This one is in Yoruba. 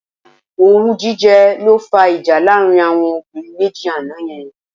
Owú jíjẹ ló fá ìjà láàrin àwọn obìnrin méjì àná yẹn.